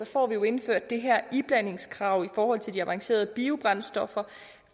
får vi jo indført det her iblandingskrav for de avancerede biobrændstoffer